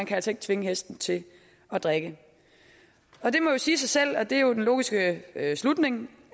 kan tvinge hesten til at drikke det siger sig selv og det er jo den logiske slutning